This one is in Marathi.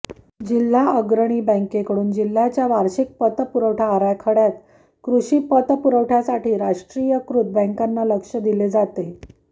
जिल्हा अग्रणी बँकेकडून जिल्ह्याच्या वार्षिक पतपुवठा आराखड्यात कृषी पतपुरवठ्यासाठी राष्ट्रीयीकृत बँकांना लक्ष्य दिले जाते